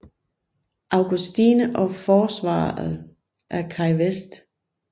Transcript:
Augustine og forsvaret af Key West